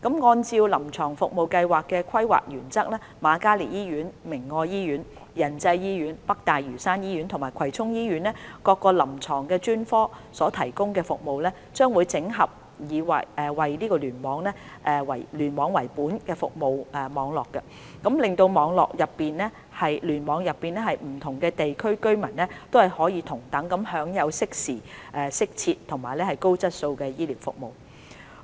按照臨床服務計劃的規劃原則，瑪嘉烈醫院、明愛醫院、仁濟醫院、北大嶼山醫院及葵涌醫院各臨床專科所提供的服務，將整合為以聯網為本的服務網絡，使聯網內不同地區的居民可同等享有適時、適切和高質素的醫療服務。